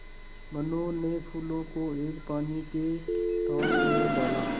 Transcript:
मनु ने फूलों को एक पानी के टांक मे डाला